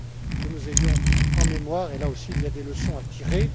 que nous ayons en mémoire et, là aussi, il y a des leçons à tirer.